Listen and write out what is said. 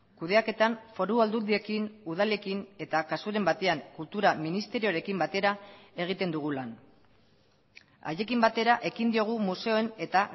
kudeaketan foru aldundiekin udalekin eta kasuren batean kultura ministerioarekin batera egiten dugu lan haiekin batera ekin diogu museoen eta